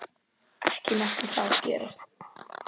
Ekki mátti það gerast.